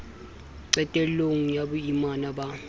qetel long ya boimana ba